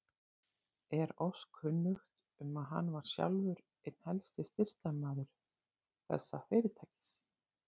Er oss kunnugt, um, að hann var sjálfur einn helsti styrktarmaður þessa fyrirtækis.